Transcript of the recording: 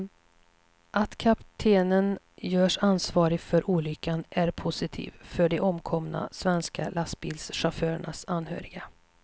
Att kaptenen görs ansvarig för olyckan är positivt för de omkomna svenska lastbilschaufförernas anhöriga.